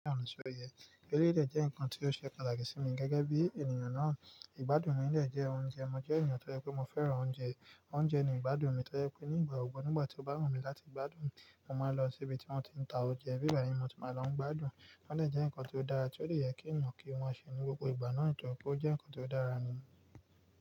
Ọ̀pọ̀ ènìyàn lọ́ sọ yẹn. Éléyi dè jẹ́ nǹkan tí ó ṣe pataki sí mi gẹ́gẹ́ bí ènìyàn náà. Ìgbádùn mi dẹ̀ jẹ́ oúnjẹ. Mo jẹ́ ènìyàn tó jẹ pé mo fẹ́ràn oúnjẹ. Oúnjẹ ni ìgbádùn mi torí pé nígbà gbogbó, nígbà tí o bá wù mí láti gbádùn, mo máa lọ sí ibi tí wọ́n ti ń ta oúnjẹ, nibí bàyi ní mo ti máa lọ ń gbádùn. Elèyii jẹ́ nǹkan tí ó dára tí ó dè yẹ́ kí eniyan ki ọ́ maa ṣe ní gbogbo ìgbà náà nítorí pé ó jẹ́ nǹkan tí ó dára nìyẹn.